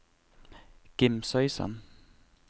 Gimsøysand